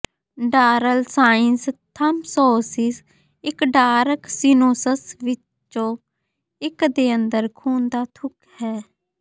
ਡਾਰਲ sinus thrombosis ਇੱਕ dural sinuses ਵਿੱਚੋਂ ਇੱਕ ਦੇ ਅੰਦਰ ਖੂਨ ਦਾ ਥੁੱਕ ਹੈ